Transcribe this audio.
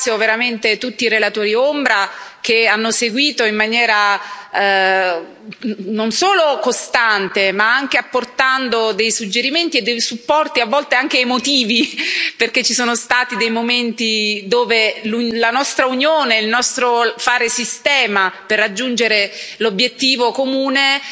Ringrazio veramente tutti i relatori ombra, che hanno seguito in maniera non solo costante, ma anche apportando dei suggerimenti e dei supporti, a volte anche emotivi, perché ci sono stati dei momenti dove la nostra unione, il nostro fare sistema per raggiungere l'obiettivo comune,